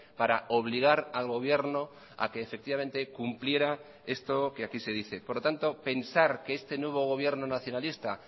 para obligar al gobierno a que efectivamente cumpliera esto que aquí se dice por lo tanto pensar que este nuevo gobierno nacionalista